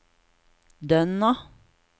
Dønna